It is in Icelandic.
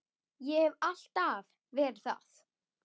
Og hef alltaf verið það.